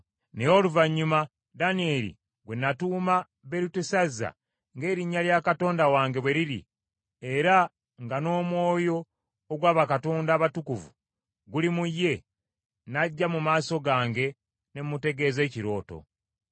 Naye oluvannyuma Danyeri gwe natuuma Berutesazza ng’erinnya lya katonda wange bwe liri, era nga n’omwoyo ogwa bakatonda abatukuvu guli mu ye, n’ajja mu maaso gange ne mutegeeza ekirooto.